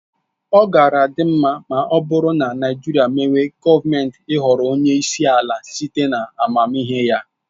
Ọ gaara adị mma ọ bụrụ na Naịjirịa mewe gọọmenti ịhọrọ onyeisi ala site na amamihe ya.